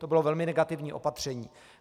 To bylo velmi negativní opatření.